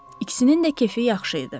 İkisinin də kefi yaxşı idi.